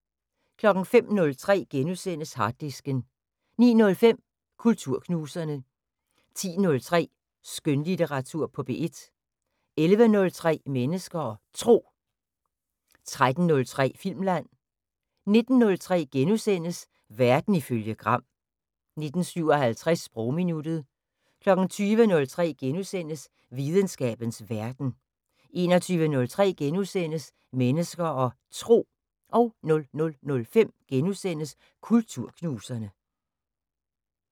05:03: Harddisken * 09:05: Kulturknuserne 10:03: Skønlitteratur på P1 11:03: Mennesker og Tro 13:03: Filmland 19:03: Verden ifølge Gram * 19:57: Sprogminuttet 20:03: Videnskabens Verden * 21:03: Mennesker og Tro * 00:05: Kulturknuserne *